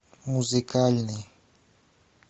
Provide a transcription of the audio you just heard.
музыкальный